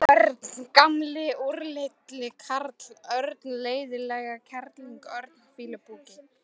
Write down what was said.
Örn gamli úrilli karl, Örn leiðindakerling, Örn fýlupoki.